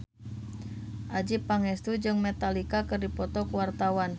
Adjie Pangestu jeung Metallica keur dipoto ku wartawan